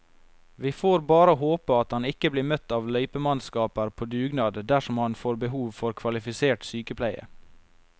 Vi får bare håpe at han ikke blir møtt av løypemannskaper på dugnad dersom han får behov for kvalifisert sykepleie.